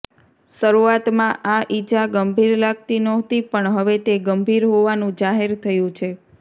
શરૂઆતમાં આ ઇજા ગંભીર લાગતી નહોતી પણ હવે તે ગંભીર હોવાનું જાહેર થયું છે